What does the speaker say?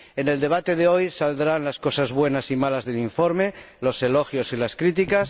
En el debate de hoy saldrán las cosas buenas y malas del informe, los elogios y las críticas.